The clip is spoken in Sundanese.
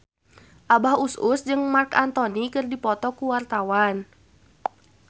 Abah Us Us jeung Marc Anthony keur dipoto ku wartawan